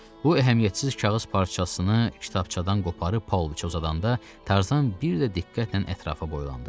Bu əhəmiyyətsiz kağız parçasını kitabçadan qoparıb Pauloviçə uzadanda, Tarzan bir də diqqətlə ətrafa boylandı.